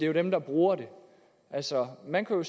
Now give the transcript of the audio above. er dem der bruger det altså man kan jo